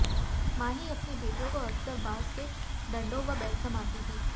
मां ही अपनी बेटियों को अकसर बांस के डंडों व बेल्ट से मारती थी